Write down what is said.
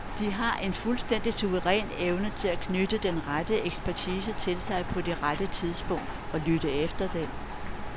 De har en fuldstændig suveræn evne til at knytte den rette ekspertise til sig på det rette tidspunkt, og lytte efter den.